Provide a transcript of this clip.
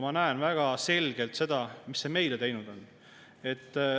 Ma näen väga selgelt seda, mis see meile teinud on.